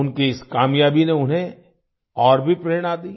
उनकी इस कामयाबी ने उन्हें और भी प्रेरणा दी